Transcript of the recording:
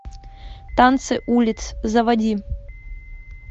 танцы улиц заводи